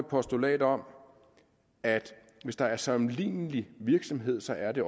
postulat om at hvis der er sammenlignelig virksomhed så er det